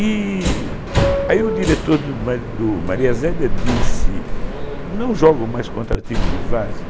E aí o diretor do do Maria Zélia disse, não jogam mais contra time de Várzea